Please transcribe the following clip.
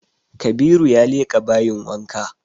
Kabiru ya leƙa bayin wanka